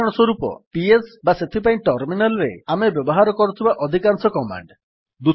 ଉଦାହରଣସ୍ୱରୂପ ପିଏସ୍ ବା ସେଥିପାଇଁ ଟର୍ମିନାଲ୍ ରେ ଆମେ ବ୍ୟବହାର କରୁଥିବା ଅଧିକାଂଶ କମାଣ୍ଡ୍